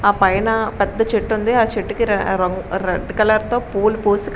ఆ పైన పెద్ద చెట్టు ఉంది. ఆ చెట్టుకి రంగు రెడ్ కలర్ తో పూలు పూసి--